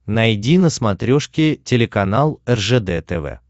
найди на смотрешке телеканал ржд тв